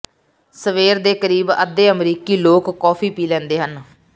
ਸਵੇਰ ਦੇ ਕਰੀਬ ਅੱਧੇ ਅਮਰੀਕੀ ਲੋਕ ਕੌਫੀ ਪੀ ਲੈਂਦੇ ਹਨ